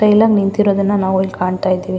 ತೈಲಗ್ ನಿಂತಿರೋದನ್ನ ನಾವು ಇಲ್ಲಿ ಕಾಣ್ತಾ ಇದ್ದಿವಿ.